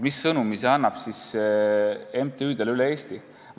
Mis sõnumi see annab MTÜ-dele üle Eesti?